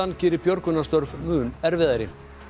geri björgunarstörf mun erfiðari